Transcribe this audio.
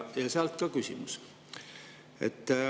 Ja sealt ka küsimus.